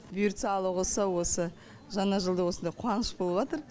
бұйыртса алла қаласа осы жаңа жылда осындай қуаныш болып жатыр